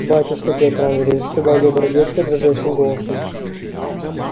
батюшка пётр андреевич сказал добрый дядька дрожащим голосом